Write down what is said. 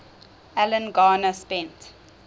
alan garner spent